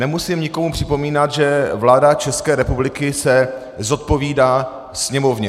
Nemusím nikomu připomínat, že vláda České republiky se zodpovídá Sněmovně.